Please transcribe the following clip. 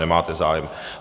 Nemáte zájem.